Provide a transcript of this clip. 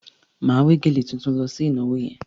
Màá wé gèlè tuntun mi lọ sí ìnàwoh yẹn.